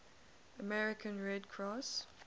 american red cross